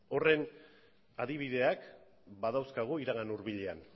horren adibideak badauzkagu iragan hurbilean